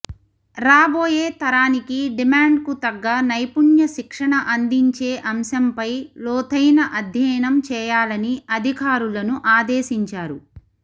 రాబోయే తరానికి డిమాండ్కు తగ్గ నైపుణ్య శిక్షణ అందించే అంశంపై లోతైన అధ్యయనం చేయాలని అధికారులను ఆదేశించారు